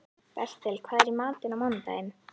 Bertel, hvað er í matinn á mánudaginn?